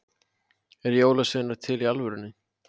eru jólasveinar til í alvörunni